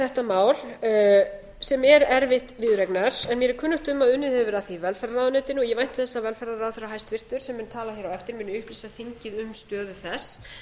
þetta mál sem er erfitt viðureignar en mér er kunnugt um að unnið hefur verið að því í velferðarráðuneytinu ég vænti þess að velferðarráðherra hæstvirts sem mun tala hér á eftir muni upplýsa þingið um stöðu þess